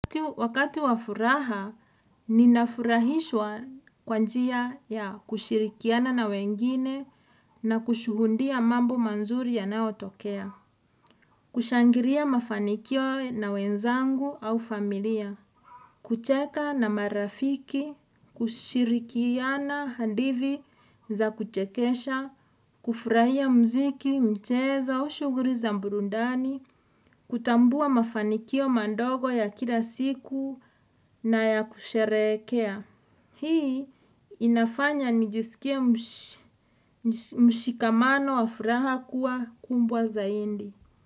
Wakati wa furaha, ninafurahishwa kwa njia ya kushirikiana na wengine na kushuhundia mambo manzuri yanayotokea. Kushangiria mafanikio na wenzangu au familia. Kucheka na marafiki, kushirikiana handithi za kuchekesha, kufurahia muziki, mchezo, aus huguri za mburundani, Kutambua mafanikio mandogo ya kila siku na ya kusherehekea Hii inafanya nijisikie mshikamano wa furaha kuwa kumbwa zaindi.